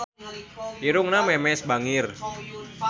Irungna Memes bangir